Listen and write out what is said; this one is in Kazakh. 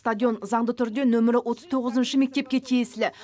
стадион заңды түрде нөмір отыз тоғызыншы мектепке тиесілі